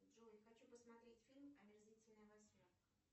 джой хочу посмотреть фильм омерзительная восьмерка